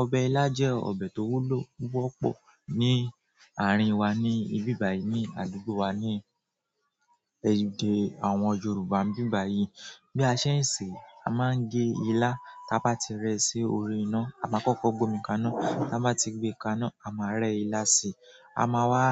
Ọbẹ̀ ilá jẹ́ ọbẹ̀ tó wúlò púpọ̀ ní àárín wa ní ibi báyìí ní àdúgbò wa ní èdè àwọn Yorùbá n bi báyìí. Bí a ṣe ń ṣe, a máa ń gé ilá tá bá ti rẹ́ sí orí iná, a máa kọ́kọ́ gbe omi kaná, ká bá ti gbé e kaná, a máa rẹ́ ilá sí i, a máa wá